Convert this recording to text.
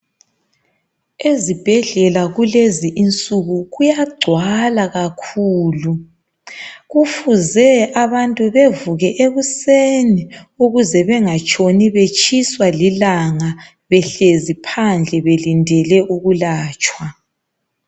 Ezibhedlela kulezi insuku kuyagcwala kakhulu, kufuze abantu bevuke ekuseni ukuze bengatshoni betshiswa lilanga behlezi phandle belindele ukulatshwa.